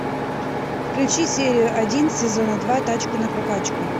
включи серию один сезона два тачку на прокачку